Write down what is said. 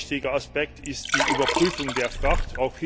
Ein weiterer wichtiger Aspekt ist die Überprüfung der Fracht.